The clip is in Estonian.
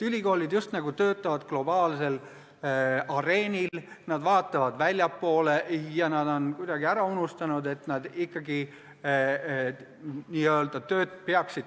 Ülikoolid töötavad justnagu globaalsel areenil, nad vaatavad väljapoole ja on kuidagi ära unustanud, et nad peaksid töötama ikkagi kohaliku ühiskonna hüvanguks.